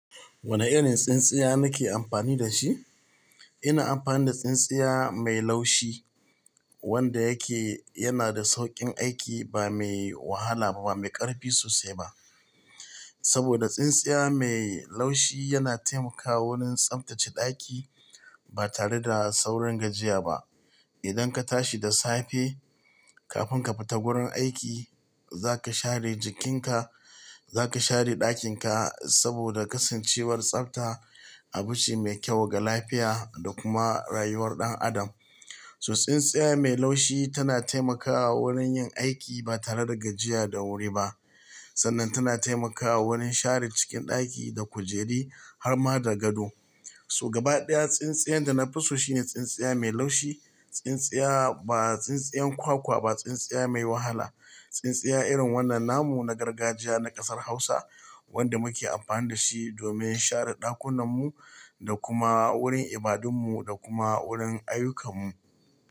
Wane irin tsintsiya nake amfani da shi? Ina amfani da tsintsiya mai laushi wanda yake yana da sauƙin aiki ba mai wahala ba, ba mai ƙarfi sosai ba. Saboda tsintsiya mai laushi yana taimakawa wurin tsaftace ɗaki ba tare da saurin gajiya ba. Idan ka tashi da safe kafin ka fita wurin aiki, za ka share jikinka, za ka share ɗakinka saboda kasancewar tsafta abu ce mai kyau ga lafiya da kuma rayuwar ɗan adam. So tsintsiya mai laushi tana taimakawa wurin yin aiki ba tare da gajiya da wuri ba. Sannan tana taimakawa wurin share cikin ɗaki da kujeri har ma da gado. So gaba ɗaya tsintsiyar da na fi so shine tsintsiya mai laushi, tsintsiya ba tsintsiyar kwakwa ba, tsintsiya mai wahala, tsintsiya irin wannan namu na gargajiya na ƙasar Hausa wanda muke amfani da shi domin share ɗakunanmu da kuma wurin ibadunmu da kuma wurin ayyukamu.